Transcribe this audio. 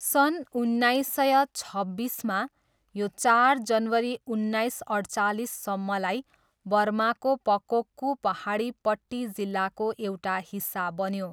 सन् उन्नाइस सय छब्बिसमा, यो चार जनवरी उन्नाइस अठ्चालिससम्मलाई बर्माको पकोक्कू पाहाडी पट्टी जिल्लाको एउटा हिस्सा बन्यो।